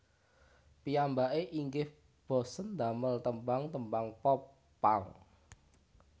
Piyambake inggih bosèn damel tembang tembang Pop punk